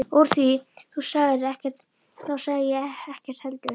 Úr því þú sagðir ekkert þá sagði ég ekkert heldur.